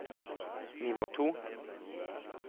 nivå to